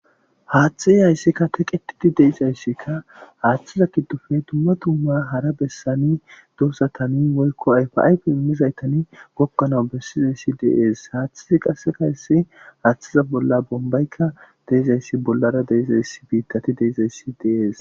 Haaththey hayssi teqqetidi de'izayssikka haaththeza giddoppe dumma dumma hara bessan doozatan woykko ayfa ayfe immizaytan goggan bessizayssika de'es. Haaththezi qassekka hayssi haaththeza bolla bombayka de'izayssi bollara biittati de'izayssi de'es.